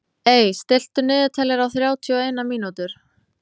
Ey, stilltu niðurteljara á þrjátíu og eina mínútur.